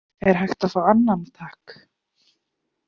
Er hægt að fá annan, takk?